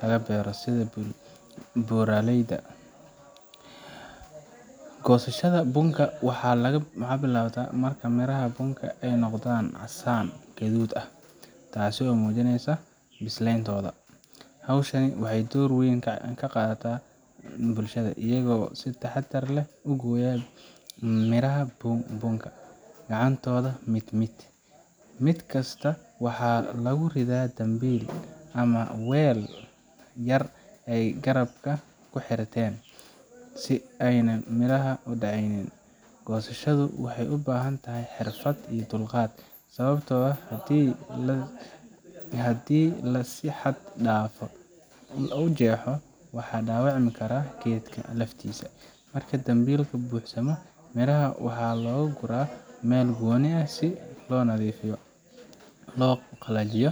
laga beero sida buuraleyda. Goosashada bunka waxay bilaabataa marka miraha bunka ay noqdaan casaan guduud ah, taasoo muujinaysa bislayntoda. Haweenku waxay door weyn ka qaataan hawshan, iyagoo si taxadar leh u gooya midhaha bunka gacantooda, mid mid. Mid kasta waxaa lagu ridaa dambiil ama weel yar oo ay garabka ku xirteen, si aanay midhaha u dhaacaynin . Goosashadu waxay u baahan tahay xirfad iyo dulqaad, sababtoo ah haddii la si xad dhaaf ah u jeexo, waxaa dhaawacmi kara geedka laftiisa. Marka dambiilka buuxsamo, miraha waxaa loo guraa meel gooni ah si loo nadiifiyo, loo qalajiyo,